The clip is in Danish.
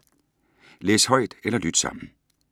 Læs højt eller lyt sammen